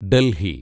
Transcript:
Delhi